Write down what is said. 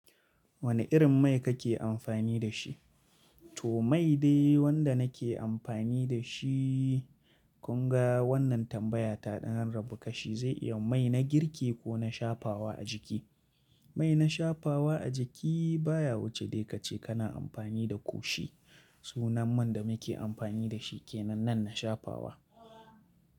Wane irin mai kake amfani da shi? To mai dai wanda nake amfani da shi. Kunga wannan tambaya ta ɗan rabu kashi zai iya mai na girki ko na shafawa a jiki. Mai na shafawa a jiki baya wuce dai ka ce kana amfani da ƙoshi. Sunan man da muke amfani da shi ke nan nan na shafawa.